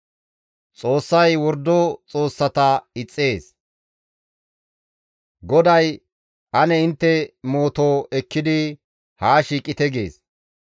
GODAY, «Ane intte mooto ekkidi haa shiiqite» gees. Yaaqoobe Kawoy, «Ane intte mooto daafaa haa ehite» gees.